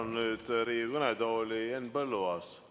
Palun nüüd Riigikogu kõnetooli Henn Põlluaasa.